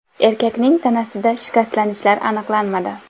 Erkakning tanasida shikastlanishlar aniqlanmadi.